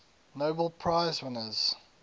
nobel prize winners